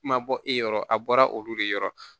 Ma bɔ e yɔrɔ a bɔra olu de yɔrɔ